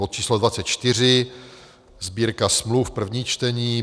bod číslo 24, Sbírka smluv, první čtení,